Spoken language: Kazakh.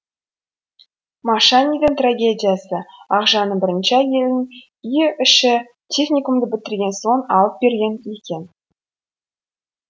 машанидың трагедиясы ақжанның бірінші әйелін үй іші техникумды бітірген соң алып берген екен